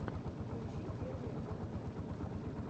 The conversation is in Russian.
включи первые концерты